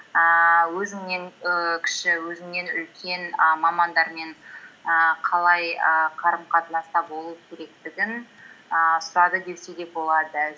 ііі өзіңнен і кіші өзіңнен үлкен і мамандармен ііі қалай ііі қарым қатынаста болу керектігін ііі сұрады десе де болады